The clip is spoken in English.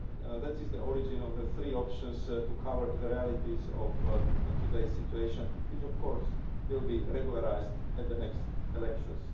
that is the origin of the three options to cover the realities of today's situation which of course will be regularised at the next elections.